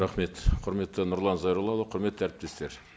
рахмет құрметті нұрлан зайроллаұлы құрметті әріптестер